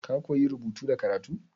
Ka koya rubutu da karatu?